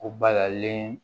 O balalen